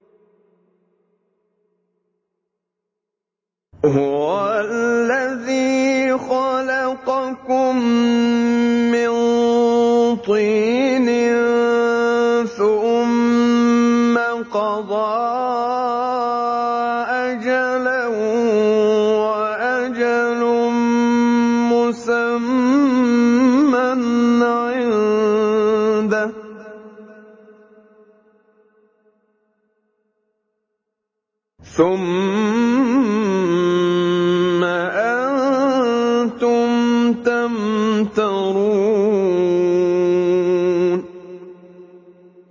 هُوَ الَّذِي خَلَقَكُم مِّن طِينٍ ثُمَّ قَضَىٰ أَجَلًا ۖ وَأَجَلٌ مُّسَمًّى عِندَهُ ۖ ثُمَّ أَنتُمْ تَمْتَرُونَ